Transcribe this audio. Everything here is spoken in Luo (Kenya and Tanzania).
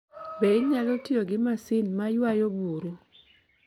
Be inyalo tiyo gi masin ma ywayo buru?